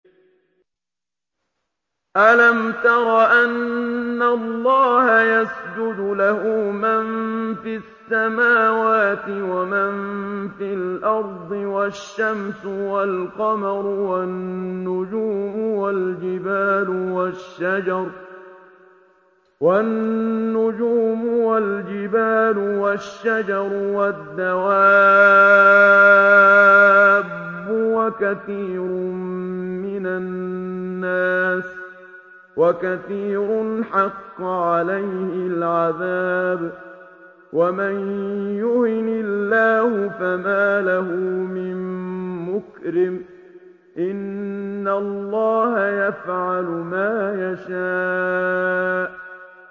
أَلَمْ تَرَ أَنَّ اللَّهَ يَسْجُدُ لَهُ مَن فِي السَّمَاوَاتِ وَمَن فِي الْأَرْضِ وَالشَّمْسُ وَالْقَمَرُ وَالنُّجُومُ وَالْجِبَالُ وَالشَّجَرُ وَالدَّوَابُّ وَكَثِيرٌ مِّنَ النَّاسِ ۖ وَكَثِيرٌ حَقَّ عَلَيْهِ الْعَذَابُ ۗ وَمَن يُهِنِ اللَّهُ فَمَا لَهُ مِن مُّكْرِمٍ ۚ إِنَّ اللَّهَ يَفْعَلُ مَا يَشَاءُ ۩